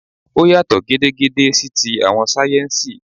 Ó yàtọ̀ gedegbe sí ti àwọn sáyẹ́ńsì